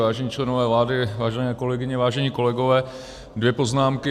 Vážení členové vlády, vážené kolegyně, vážení kolegové, dvě poznámky.